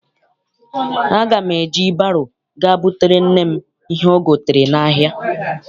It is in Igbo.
Aga m eji baro ga butere nne m ihe o gotere n'ahia.